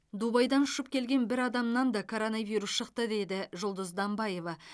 дубайдан ұшып келген бір адамнан да коронавирус шықты дейді жұлдыз данбаева